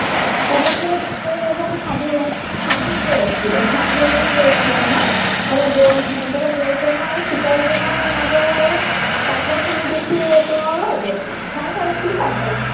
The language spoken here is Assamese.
আহ তাৰ পৰা সেই বাটেৰে এজন সাধু সাধু গৈ আছিলে সাধু এজন গৈ আছিলে মানে তাৰ পৰা গৌতমে আৰু চিকাৰী জনৰ মাজৰ আৰু কাজিয়া খিনি দেখি তেওঁ ৰৈ গল চাইছে আৰু কি কাজিয়া